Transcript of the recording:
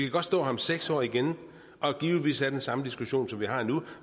godt stå her om seks år igen og givetvis have den samme diskussion som vi har nu